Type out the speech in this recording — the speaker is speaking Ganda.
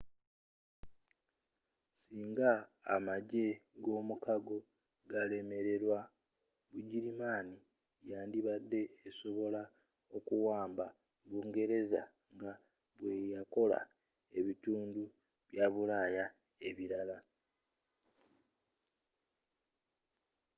singa amagye g'omukago galemererwa bugirimani yandibadde esobola okuwamba bungereza nga bweyakola ebitundu bya bulaya ebirala